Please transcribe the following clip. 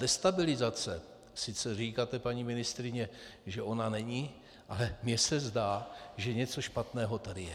Destabilizace - sice říkáte, paní ministryně, že ona není, ale mně se zdá, že něco špatného tady je.